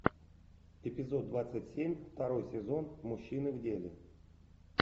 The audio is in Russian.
эпизод двадцать семь второй сезон мужчины в деле